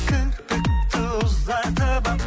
кірпікті ұзартып алып